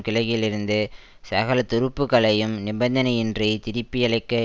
கிழக்கில் இருந்து சகல துருப்புக்களையும் நிபந்தனையின்றி திருப்பியழைக்க